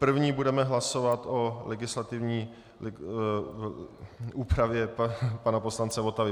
První budeme hlasovat o legislativní úpravě pana poslance Votavy.